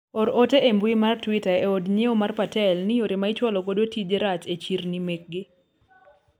or ote e mbui mar twita e od nyiewo mar patel ni yore ma ichwalo godo tije rach e chirni mekgi